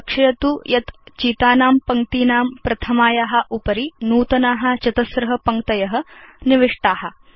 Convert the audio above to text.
लक्षयतु यत् चितानां पङ्क्तीनां प्रथमाया उपरि नूतना चतस्र पङ्क्तय निविष्टा